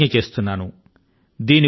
నేను ప్రతిజ్ఞ చేస్తున్నాను